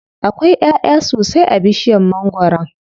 Akwai ƴaʼya sosai a bishiyar mangwaron.